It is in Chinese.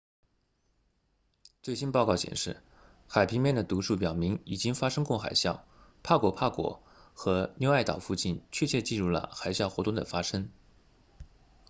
最新公报显示海平面的读数表明已经发生过海啸帕果帕果和纽埃岛附近确切记录了海啸活动的发生